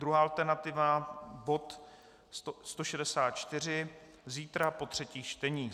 Druhá alternativa bod 164 zítra po třetích čteních.